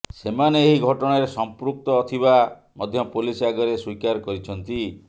ସେମାନେ ଏହି ଘଟଣାରେ ସମ୍ପୃକ୍ତ ଥିବା ମଧ୍ୟ ପୋଲିସ ଆଗରେ ସ୍ୱୀକାର କରିଛନ୍ତି